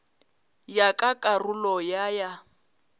ya ka karolo ya ya